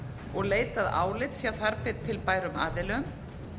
og leitað álits hjá þar til bærum aðilum